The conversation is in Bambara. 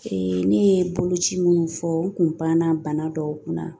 ne ye boloci minnu fɔ n kun panna bana dɔw kunna